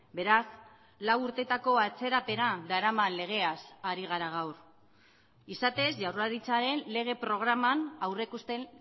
beraz lau urtetako atzerapena daraman legeaz ari gara gaur izatez jaurlaritzaren lege programan aurreikusten